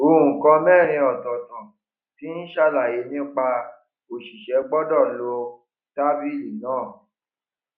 nǹkan mẹrin ọtọọtọ tí ń ṣàlàyé nípa òṣìṣẹ gbọdọ lọ tábìlì náà